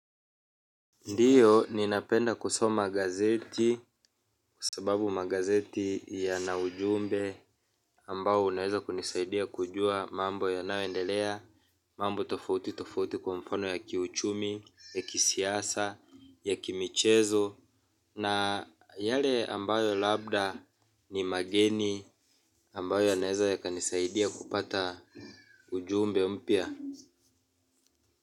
Ndiyo, ninapenda kusoma gazeti kwa sababu magazeti ya na ujumbe ambayo unaweza kunisaidia kujua mambo yanayoendelea, mambo tofauti tofauti kwa mfano ya kiuchumi, ya kisiasa, ya kimichezo, na yale ambayo labda ni mageni ambayo yanaweza yakanisaidia kupata ujumbe mpya.